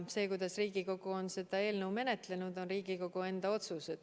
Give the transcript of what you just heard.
See, kuidas Riigikogu on seda eelnõu menetlenud, on olnud teie enda otsus.